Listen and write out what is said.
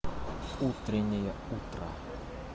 утренняя утра